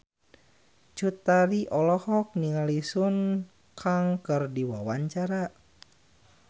Cut Tari olohok ningali Sun Kang keur diwawancara